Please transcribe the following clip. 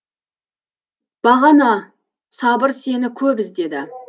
бағана сабыр сені көп іздеді